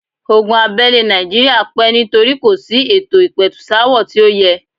Ogun abẹ́lé nàìjíría pẹ́ nítorí kò sí ètò ìpẹ̀tùsááwọ̀ tí ó yẹ.